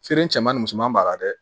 Feere cɛman ni musoman b'a la dɛ